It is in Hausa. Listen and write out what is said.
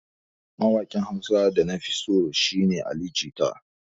Mawaƙin Hausa da na fi so a da shi ne Ali jita.